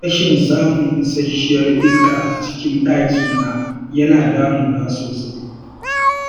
Rashin samun isashiyar iska a cikin ɗakina yana damuna sosai.